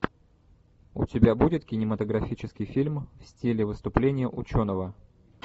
у тебя будет кинематографический фильм в стиле выступления ученого